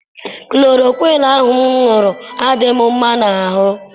Kulorokwiinu ahụ m ṅụrụ adịghị m mma n'arụ.